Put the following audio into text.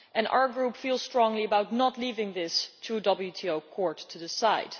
Our Group feels strongly about not leaving this to the WTO courts to decide.